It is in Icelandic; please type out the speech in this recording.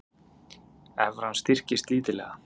Evran styrkist lítillega